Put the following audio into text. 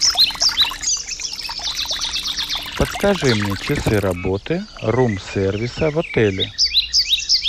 подскажи мне часы работы рум сервиса в отеле